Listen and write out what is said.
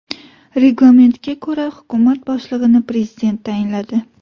Reglamentga ko‘ra, hukumat boshlig‘ini prezident tayinladi.